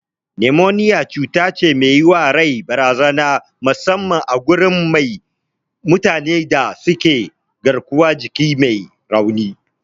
Numoniya cutace me yiwa rai barazana musamman a gurin mutane da suke garkuwar jiki me rauni.